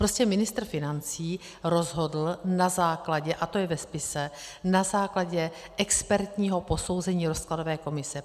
Prostě ministr financí rozhodl na základě - a to je ve spise - na základě expertního posouzení rozkladové komise.